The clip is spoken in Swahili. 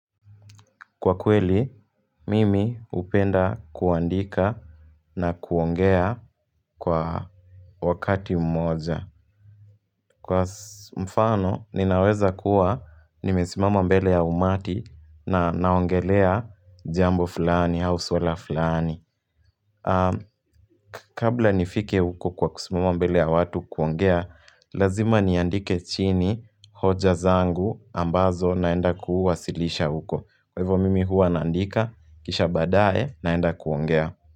Kwa kweli, mimi upenda kuandika na kuongea kwa wakati mmoja. Kwa mfano, ninaweza kuwa nimesimama mbele ya umati na naongelea jambo fulani, au swala fulani. Kabla nifike uko kwa kusimama mbele ya watu kuongea, lazima niandike chini hoja zangu ambazo naenda kuuwasilisha uko. Kwa hivyo mimi huwa naandika, kisha baadae naenda kuongea.